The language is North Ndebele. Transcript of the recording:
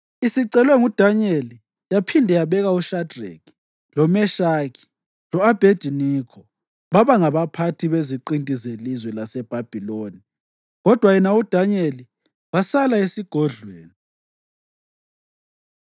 Isicelwe nguDanyeli, yaphinde yabeka uShadreki, loMeshaki lo-Abhediniko baba ngabaphathi beziqinti zelizwe laseBhabhiloni, kodwa yena uDanyeli wasala esigodlweni.